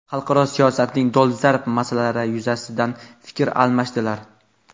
xalqaro siyosatning dolzarb masalalari yuzasidan fikr almashdilar.